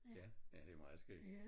Ja ja det meget skæg